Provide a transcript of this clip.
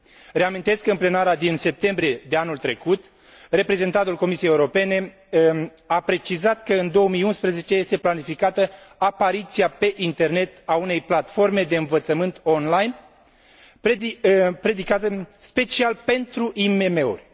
Reamintesc că, în ședința plenară din septembrie de anul trecut, reprezentantul Comisiei Europene a precizat că, în 2011, este planificată apariția pe internet a unei platforme de învățământ online dedicată special IMM urilor.